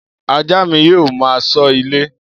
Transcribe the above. Ajá mi yóò máa ṣọ́ ilé.